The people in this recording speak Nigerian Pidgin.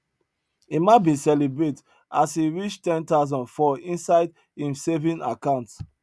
emma bin celebrate as him reach ten thousand for inside im saving account